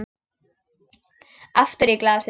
Aftur í glasið.